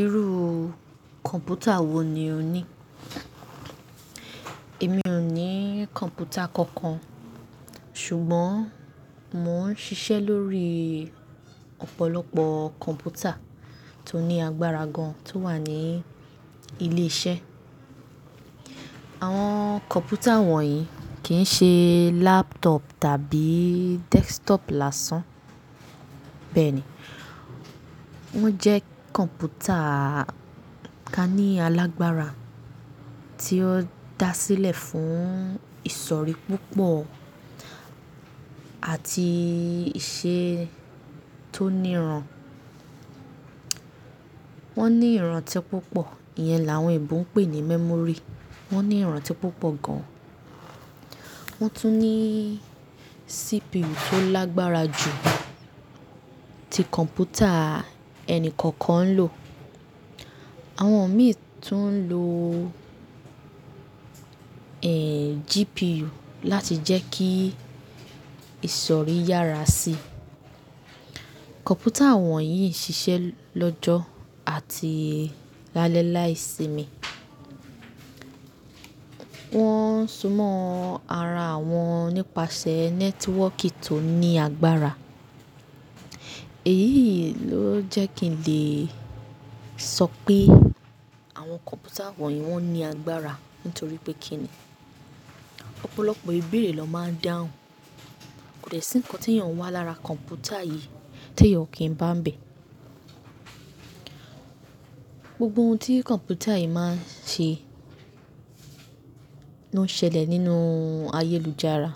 Irú kọ̀ǹpútà wo ni o ní? Èmi ò ní kọ̀ǹpútà kankan, ṣùgbọ́n mò ń ṣiṣẹ́ lórí ọ̀pọ̀lọpọ̀ kọ̀ǹpútà tó ní agbára gan tó wà ní ilé iṣẹ́. Àwọn kọ̀ǹpútà wọ̀nyí kì í ṣe laptop tàbí desktop lásán. Bẹ́ẹ̀ ni, wọ́n jẹ́ kọ̀ǹpútà ka ní alágbára tí ó da sílẹ̀ fún ìsọ̀rí púpọ̀ àti iṣẹ́ tó níran. Wọ́n ní ìrántí púpọ̀, ìyẹn làwọn èèbú ń pè ní memory. Wọ́n ní ìrántí púpọ̀ gan. Wọ́n tún ní CPU tó lágbára jù ti kọ̀ǹpútà ẹni kọ̀ọ̀kan ń lò. Àwọn mìíràn tún ń lo, ẹ́, GPU láti jẹ́ kí ìsọ̀rí yára sí i. Kọ̀ǹpútà wọ̀nyí ṣiṣẹ́ lọ́jọ́ àti lálẹ́ láìsimi. Wọ́n ń súnmọ́ ara wọn nípasẹ̀ nẹ́tíwọ́kì tó ní agbára. Èyí ló jẹ́ kí n lè sọ pé àwọn kọ̀ǹpútà wọ̀nyí wọ́n ní agbára nítorí pé kí ni, ọ̀pọ̀lọpọ̀ ìbeerẹ̀ ló máa ń dáhùn. Kò de sí ǹkan tí èèyàn wá lára kọ̀ǹpútà yìí tí èèyàn kì í bá ń bẹ̀. Gbogbo ohun tí kọ̀ǹpútà yìí máa ń ṣe ló ń ṣẹlẹ̀ nínú ayélujára.